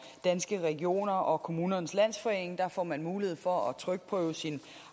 danske regioner og kommunernes landsforening der får man mulighed for at trykprøve sin